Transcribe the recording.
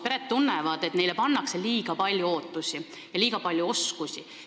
Pered tunnevad, et neile pannakse liiga palju ootusi ja neilt nõutakse liiga palju oskusi.